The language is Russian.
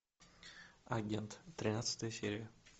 агент тринадцатая серия